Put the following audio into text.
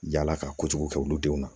Yala ka kojugu kɛ olu denw na